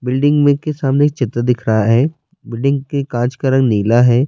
Building مے کے سامنے چترا دیکھ رہا ہے۔ بلڈنگ کے کاچ کا رنگ نیلا ہے۔